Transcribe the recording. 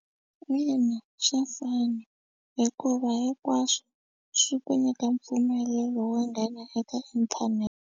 Ina swa fana hikuva hinkwaswo swi ku nyika mpfumelelo wo nghena eka inthanete.